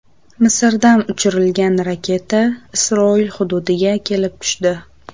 Misrdan uchirilgan raketa Isroil hududiga kelib tushdi.